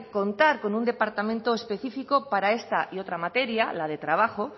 contar con un departamento específico para esta y otra materia la de trabajo